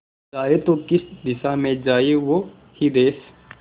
जाए तो किस दिशा में जाए वो ही देस